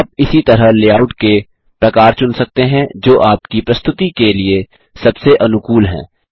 आप इसी तरह लेआउट के प्रकार चुन सकते हैं जो आपकी प्रस्तुति के लिए सबसे अनुकूल है